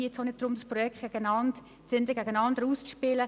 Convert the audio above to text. Aber jetzt geht es nicht darum, die Projekte gegeneinander auszuspielen.